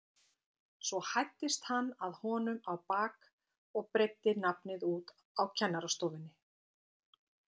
Svo hæddist hann að honum á bak og breiddi nafnið út á kennarastofunni.